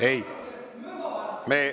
Ei …